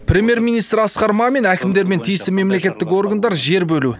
премьер министр асқар мамин әкімдер мен тиісті мемлекеттік органдар жер бөлу